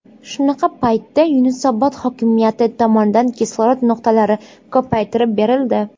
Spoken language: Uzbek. Shunaqa paytda Yunusobod hokimiyati tomonidan kislorod nuqtalari ko‘paytirib berildi.